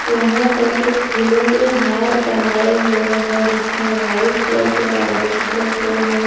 यहां पर कुछ फूलों के हार बनाए हुए हैं जिसमें वाइट कलर के और ऑरेंज कलर के हैं।